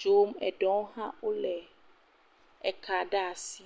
dzom. Eɖewo hã wole ka ɖe asi.